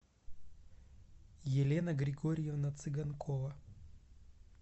елена григорьевна цыганкова